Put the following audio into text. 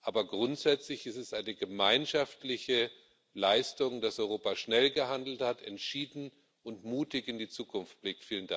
Aber grundsätzlich ist es eine gemeinschaftliche Leistung, dass Europa schnell gehandelt hat und entschieden und mutig in die Zukunft blickt.